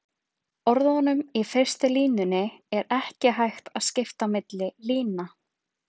Orðunum í fyrstu línunni er ekki hægt að skipta milli lína.